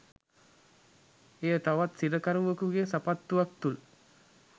එය තවත් සිරකරුවෙකුගේ සපත්තුවක් තුළ